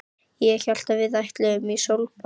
Ég hélt að við ætluðum í sólbað!